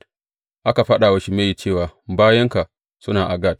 Aka faɗa wa Shimeyi cewa, Bayinka suna a Gat.